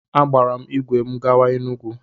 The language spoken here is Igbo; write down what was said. Agbaara m ìgwè m gawa Enugwu.